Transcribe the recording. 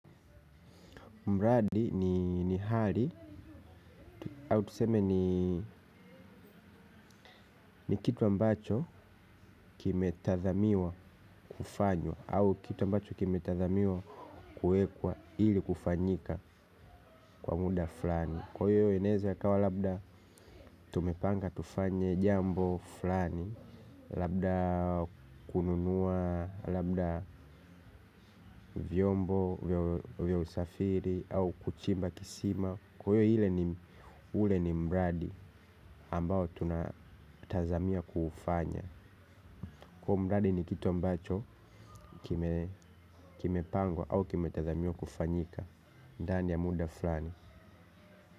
Mradi ni hali, au tuseme ni kitu ambacho kime tathamiwa kufanywa. Au kitu ambacho kime tathamiwa kuekwa ili kufanyika kwa muda flani. Kwa hiyo inaeza ya kawa labda tumepanga tufanye jambo flani. Labda kununua, labda vyombo, vya usafiri, au kuchimba kisima kwa hio ile ule ni mradi ambao tunatazamia kuufanya. Kwa mradi ni kitu ambacho kime pangwa au kime tazamia kufanyika. Ndani ya muda fulani.